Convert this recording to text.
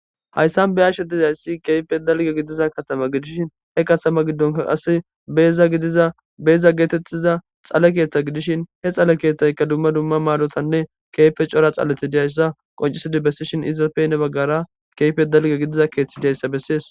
Hayissan beyashshe dizayissi kehippe dalga idiza katama gidishshin he katama gidon beza getetiza dhale keeththa gidishshin he dhale keththan daro dhaleti besishin izappe heni bagara kehippe dalga gidida keeththa dizayissa besses